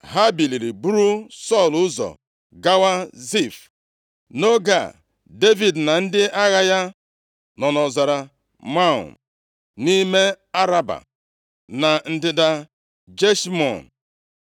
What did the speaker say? Ha biliri buru Sọl ụzọ gawa Zif. Nʼoge a, Devid na ndị agha ya nọ nʼọzara Maon, nʼime Araba, na ndịda Jeshimọn.